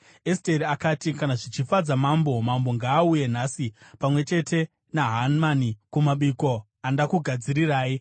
Esteri akati, “Kana zvichifadza mambo, mambo ngaauye nhasi pamwe chete naHamani, kumabiko andakugadzirirai.”